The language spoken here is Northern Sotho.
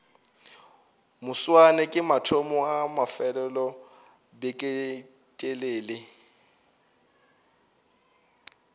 moswane ke mathomo a mafelelobeketelele